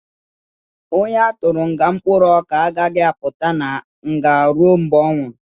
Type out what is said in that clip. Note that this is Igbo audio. Onye a tụrụ nga mkpụrụ ọka agaghị apụta na nga ruo mgbe ọ nwụrụ